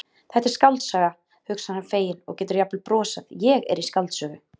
Þetta er skáldsaga, hugsar hann feginn og getur jafnvel brosað, ég er í skáldsögu.